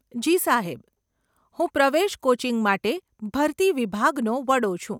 જી સાહેબ, હું પ્રવેશ કોચિંગ માટે ભરતી વિભાગનો વડો છું.